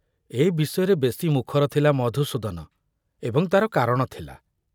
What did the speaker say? ଏ ବିଷୟରେ ବେଶି ମୁଖର ଥିଲା ମଧୁସୂଦନ ଏବଂ ତାର କାରଣ ଥିଲା।